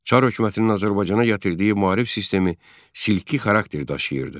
Çar hökumətinin Azərbaycana gətirdiyi maarif sistemi silki xarakter daşıyırdı.